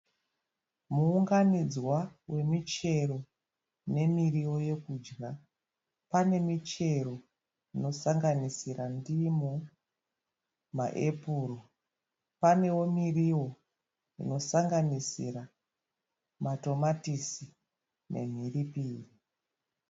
Muunganidzwa wemichero nemiriwo yekudya. Pane michero inosanisira ndimu, maepuru. Panewo miriwo inosanganisira matomatisi nemhiripiri.